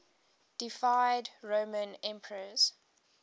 deified roman emperors